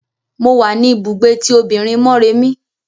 Mo wa ní ibùgbé tí òbinrín Mọ́remí.